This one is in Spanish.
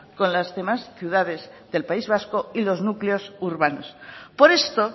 con las demás ciudades del país vasco y los núcleos urbanos por esto